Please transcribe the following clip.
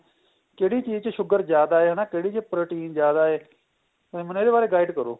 ਕਿਹੜੀ ਚੀਜ ਚ sugar ਜਿਆਦਾ ਏ ਨਾ ਕਿਹੜੀ ਚ protein ਜਿਆਦਾ ਏ ਮੈਨੂੰ ਇਹਦੇ ਬਾਰੇ guide ਕਰੋ